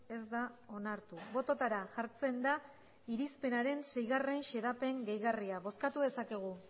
ez da onartu bototara jartzen da irizpenaren sei xedapen gehigarria bozkatu dezakegu